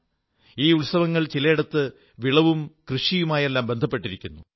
ഈ ഉത്സവങ്ങൾ ചിലയിടത്ത് വിളവും കൃഷിയുമായുമെല്ലാം ബന്ധപ്പെട്ടിരിക്കുന്നു